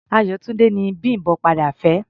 Ayọ̀túndé ni Bím̀bọ́ padà fẹ́.